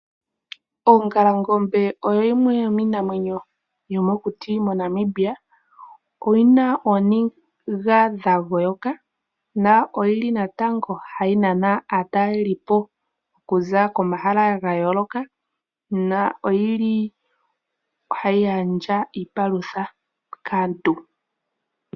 Ongalangobe oyo yimwe yomiinamwenyo yomokuti moNamibia. Oyina ooniga dha goyoka na oyili natango hayi nana aatalelipo okuza komahala ga yooloka na oyili hayi gandja iipalutha kaantu.